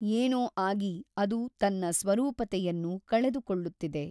ಏನೋ ಆಗಿ ಅದು ತನ್ನ ಸ್ವರೂಪತೆಯನ್ನು ಕಳೆದುಕೊಳ್ಳುತ್ತಿದೆ.